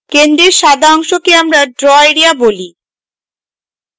centre সাদা অংশকে আমরা draw এরিয়া বলি